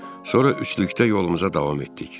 Sonra üçlükdə yolumuza davam etdik.